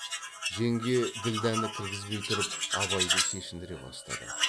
жеңге ділдәні кіргізбей тұрып абайды шешіндіре бастады